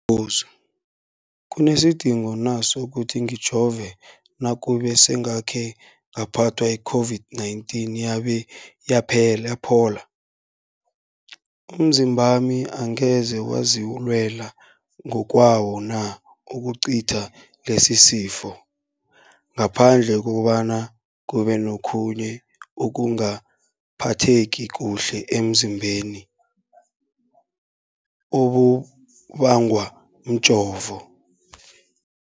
buzo, kunesidingo na sokuthi ngijove nakube sengakhe ngaphathwa yi-COVID-19 yabe yaphola? Umzimbami angeze wazilwela ngokwawo na ukucitha lesisifo, ngaphandle kobana kube nokhunye ukungaphatheki kuhle emzimbeni okubangwa mjovo?